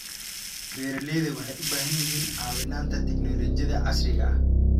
Beeralayda waxay u baahan yihiin caawinta tignoolajiyada casriga ah.